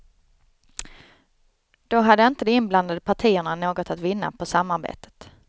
Då hade inte de inblandade partierna något att vinna på samarbetet.